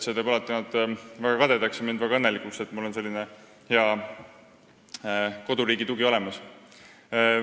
See teeb nad alati väga kadedaks ja mind väga õnnelikuks, et mul on selline koduriigi tugi olemas.